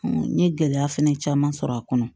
n ye gɛlɛya fɛnɛ caman sɔrɔ a kɔnɔ